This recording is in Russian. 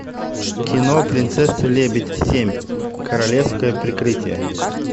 кино принцесса лебедь семь королевское прикрытие